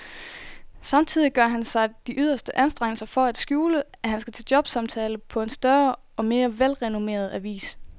Samtidig gør han sig de yderste anstrengelser for at skjule, at han skal til jobsamtale på en større og mere velrenommeret avis.